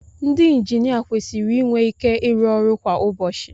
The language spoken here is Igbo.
Ndị injinia kwesịrị inwe ike ịrụ ọrụ kwa ụbọchị